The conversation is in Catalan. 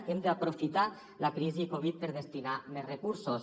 hem d’aprofitar la crisi covid per destinar hi més recursos